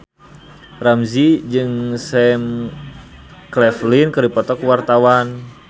Ramzy jeung Sam Claflin keur dipoto ku wartawan